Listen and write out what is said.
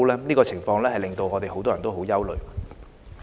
這個情況令很多人也很憂慮。